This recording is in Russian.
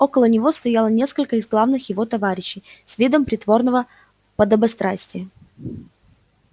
около него стояло несколько из главных его товарищей с видом притворного подобострастия